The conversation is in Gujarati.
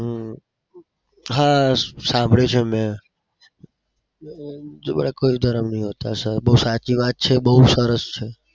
હમ હા સાંભળ્યું છે મેં. બડા કોઈ ધર્મ નહી હોતા. sir બઉ સાચી વાત છે. બઉ સરસ છે.